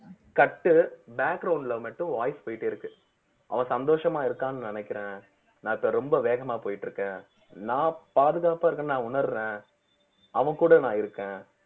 cut உ ல மட்டும் voice போயிட்டே இருக்கு அவ சந்தோஷமா இருக்கான்னு நினைக்கிறேன் நான் இப்ப ரொம்ப வேகமா போயிட்டு இருக்கேன் நான் பாதுகாப்பா இருக்கேன்னு நான் உணர்றேன் அவன் கூட நான் இருக்கேன்